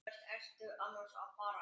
Hvert ertu annars að fara?